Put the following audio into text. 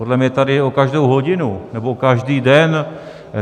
Podle mě jde tady o každou hodinu nebo o každý den.